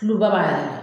Tuloba yɛrɛ